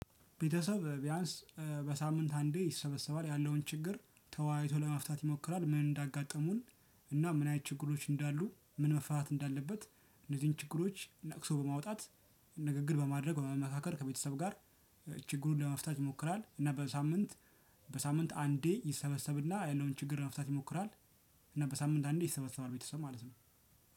ቤተሰብ ቢያንስ በሳምንት አንዴ ይሰበሰባል ያለውን ችግር ተወያይቶ ለመፍታት ይሞክራል። ምን እንዳጋጠሙን እና ምን አይነት ችግሮች እንዳሉ ምን መፈታት እንዳለበት? እነዚህን ችግሮች ነቅሶ በማውጣት ንግግር በማድረግ ወደ መካከል ከቤተሰብ ጋር ችግሩን ለመፍታት ይሞክራል። እና በሳምንት በሳምንት አንዴ ይሰበሰብና ያለውን ችግር ለመፍታት ይሞክራል። እና በሳምንት አንዴ ይሰበሰባል ቤተሰብ ማለት ነው።